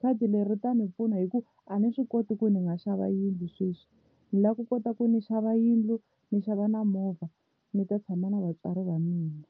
khadi leri ri ta ni pfuna hi ku a ni swi koti ku ni nga xava yindlu sweswi ni lava ku kota ku ni xava yindlu ni xava na movha ni ta tshama na vatswari va mina.